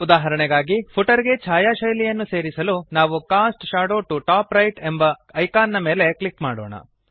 ಉದಾಹರಣೆಗಾಗಿ ಫುಟರ್ ಗೆ ಛಾಯಾಶೈಲಿಯನ್ನು ಸೇರಿಸಲು ನಾವು cast shadow to top right ಎಂಬ ಐಕಾನ್ ನ ಮೇಲೆ ಕ್ಲಿಕ್ ಮಾಡೋಣ